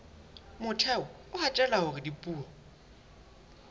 motheo o hatella hore dipuo